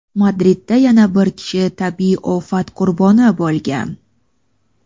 Madridda yana bir kishi tabiiy ofat qurboni bo‘lgan.